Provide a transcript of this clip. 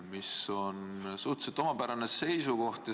See on suhteliselt omapärane seisukoht.